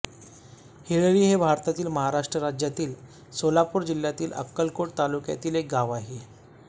हिळ्ळी हे भारतातील महाराष्ट्र राज्यातील सोलापूर जिल्ह्यातील अक्कलकोट तालुक्यातील एक गाव आहे